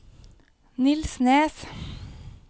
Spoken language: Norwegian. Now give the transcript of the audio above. Nils Nes